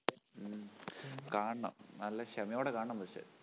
ഉം കാണണം നല്ല ക്ഷമയോടെ കാണണം പക്ഷെ